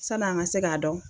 San' an ka se k'a dɔn